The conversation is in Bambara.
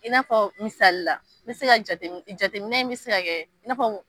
I n'a fɔ misalila n be se ka jate jateminɛ mi be se ka kɛ fɔ